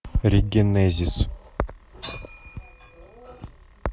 регенезис